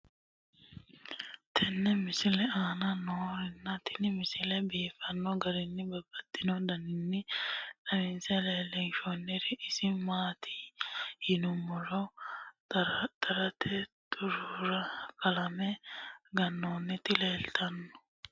tenne misile aana noorina tini misile biiffanno garinni babaxxinno daniinni xawisse leelishanori isi maati yinummoro xaratte huxxira qalame ganoonnitti leelittanno.